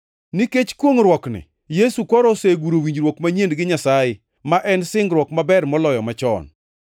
Nikech kwongʼruokni, Yesu koro oseguro winjruok manyien gi Nyasaye, ma en singruok maber moloyo machon.